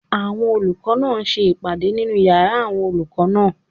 Àwọn olùkọ́ náà ń ṣe ìpàdé nínu yàrá àwọn olùkọ́ náà